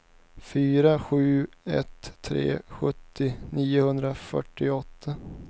fyra sju ett tre sjuttio niohundrafyrtioåtta